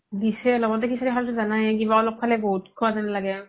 দিছে লগ্তে সিচাৰি খাওতে জানাই কিবা অলপ খালেই বহুত খুৱা জেন লাগে